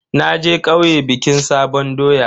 Naje kauye bikin sabon doya.